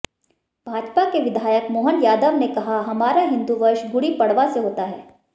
भाजपा के विधायक मोहन यादव ने कहा हमारा हिंदू वर्ष गुड़ी पड़वा से होता है